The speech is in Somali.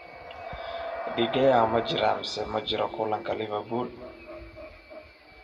De Gea ma jiraa mise ma jiro kulanka Liverpool?